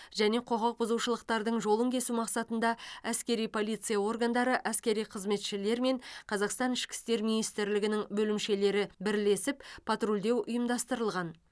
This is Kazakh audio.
және құқық бұзушылықтардың жолын кесу мақсатында әскери полиция органдары әскери қызметшілер мен қазақстан ішкі істер министрлігінің бөлімшелері бірлесіп патрульдеу ұйымдастырылған